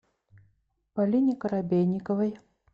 полине коробейниковой